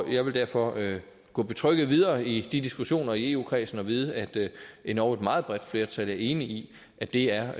jeg vil derfor gå betrygget videre i de diskussioner i eu kredsen og vide at endog et meget bredt flertal er enige i at det er